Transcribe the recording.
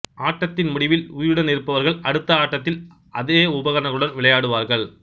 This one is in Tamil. ஆட்டதில் முடிவில் உயிருடன் இருப்பவர்கள் அடுத்த ஆட்டத்தில் ஆதே உபகரணங்களுடன் விளையாடுவார்கள்